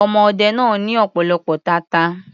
Ọmọ ọdẹ náà ní ọ̀pọ̀lọpọ̀ tata.